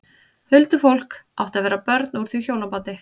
Huldufólk átti að vera börn úr því hjónabandi.